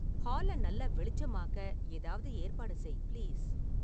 ஹால நல்லா வெளிச்சமாக்க ஏதாவது ஏற்பாடு செய் பிளீஸ்